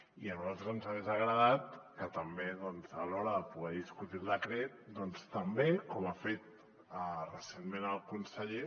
i a nosaltres ens hagués agradat que també doncs a l’hora de poder discutir el decret també com ha fet recentment el conseller